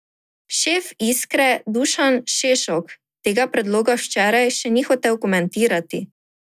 Šef Iskre Dušan Šešok tega predloga včeraj še ni hotel komentirati.